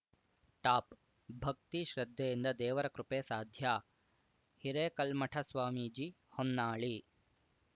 top ಭಕ್ತಿ ಶ್ರದ್ಧೆಯಿಂದ ದೇವರ ಕೃಪೆ ಸಾಧ್ಯ ಹಿರೇಕಲ್ಮಠ ಸ್ವಾಮೀಜಿ ಹೊನ್ನಾಳಿ